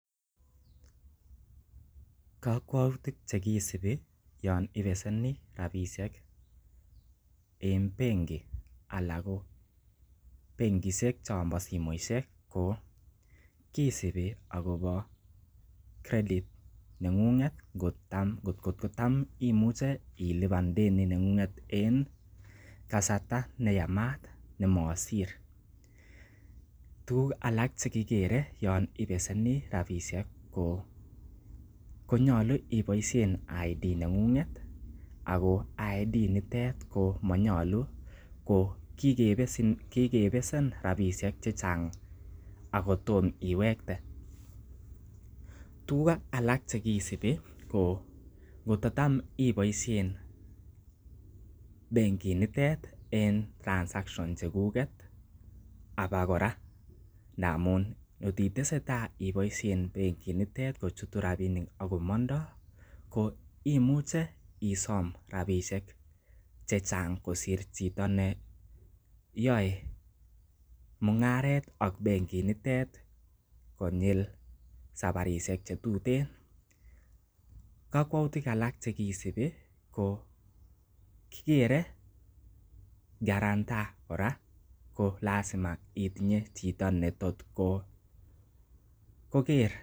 Kokwoutik che kisubi yon ibeseni rabishek en benki anan ko benkishek chon bo simoishek ko kisibi agobo credit neng'ung'et ngot ko tam imuch eilipan deni neng'ng'et en kasarta neyamat nemosir. Tuguk alak che kigere yon ibeseni rabishek konyolu iboishen ID neng'ung'et ago ID nitet komonyolu ko kigebesen rabisiek chechang ago tomo iwekte tuguk alak che kisibi ko kototam iboiisien benkinitet en transactions chekuget abakora, ndamun kot itesetai iboisien benginitet kochutu rabinik ak komondoi ko imuche isom rabisiek che chang kosir chito neyoe mung'aret ak bengit nitet konyil safarishek che tuten kokwouitik alak che kisubi ko kigere quarantor kora ko lazima itinye chito netot ko ker .